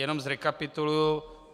Jenom zrekapituluji.